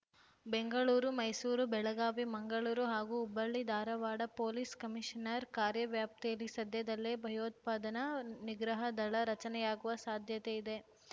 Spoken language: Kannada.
ಬೆಂಗಳೂರು ಮೈಸೂರು ಬೆಳಗಾವಿ ಮಂಗಳೂರು ಹಾಗೂ ಹುಬ್ಬಳ್ಳಿ ಧಾರಾವಾಡ ಪೊಲೀಸ್ ಕಮಿಷನರ್ ಕಾರ್ಯ ವ್ಯಾಪ್ತಿಯಲ್ಲಿ ಸದ್ಯದಲ್ಲೇ ಭಯೋತ್ಪಾದನಾ ನಿಗ್ರಹ ದಳ ರಚನೆಯಾಗುವ ಸಾಧ್ಯತೆ ಇದೆ